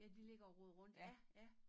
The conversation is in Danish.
Ja de ligger og roder rundt ja ja